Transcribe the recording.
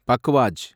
பக்வாஜ்